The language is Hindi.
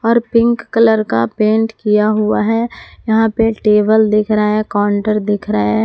और पिंक कलर का पेंट किया हुआ है यहां पे टेबल देख रहा है काउंटर दिख रहा है।